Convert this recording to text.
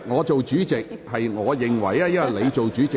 主席，我認為他是插言。